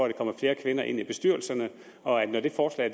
der kommer flere kvinder ind i bestyrelserne og når det forslag